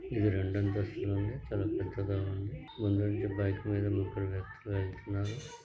ఇది రెండు అంతస్తులు ఉంది . చాలా పెద్దగా ఉంది.